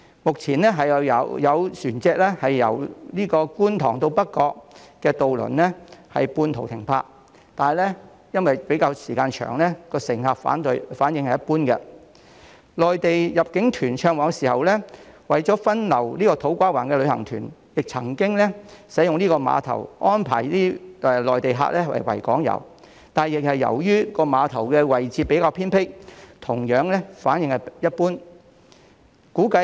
目前由觀塘到北角的渡輪需要半途停泊，但因為時間較長，乘客反應一般；內地入境團暢旺的時候，為了分流土瓜灣的旅行團，亦曾經使用這個碼頭以安排內地客參與維港遊，但由於碼頭的位置比較偏僻，反應同樣一般。